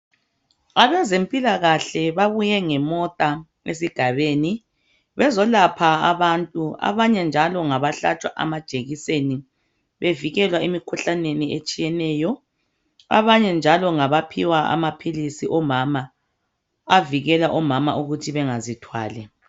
Abezempilakahle babuye ngemota esigabeni bezoapha abantu. Abanye njalo ngabahlatshwa amajekiseni bevikelwa emikhuhlaneni etshiyeneyo Abanye njalo ngabaphiwa amaphilisi omama avikela ukuthi omama bangazithwali.